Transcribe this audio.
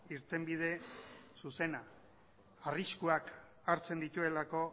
irtenbide zuzena arriskuak hartzen dituelako